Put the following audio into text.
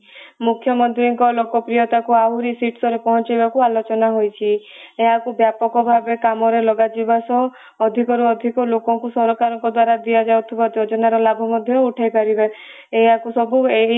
ମୁଖ୍ୟମନ୍ତ୍ରୀଙ୍କ ଲୋକପ୍ରିୟତା କୁ ଆହୁରି ଶୀର୍ଷରେ ପହଞ୍ଚାଇବାକୁ ଆଲୋଚନା ହେଇଛି । ଏହାକୁ ବ୍ୟାପକ ଭାବେ କାମ ରେ ଲଗା ଯିବା ସହ ଅଧିକରୁ ଅଧିକ ଲୋକଙ୍କୁ ସରକାରଙ୍କ ଦ୍ଵାରା ଦିଆଯାଉଥିବା ଯୋଜନାର ଲାଭ ମଧ୍ୟ ଉଠାଇପାରିବେ ଏହାକୁ ସବୁ ଏହି